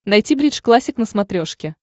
найти бридж классик на смотрешке